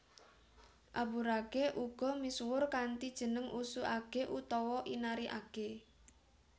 Aburage uga misuwur kanthi jeneng Usu age utawa Inari age